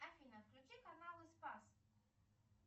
афина включи каналы спас